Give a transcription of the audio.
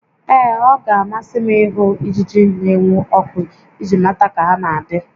Ee, ọ ga-amasị m ịhụ ijiji n'enwu ọkụ iji mata ka ha na adị